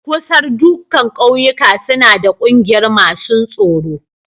Kusar da dukan ƙauyuka suna da ƙungiyar masun tsoro.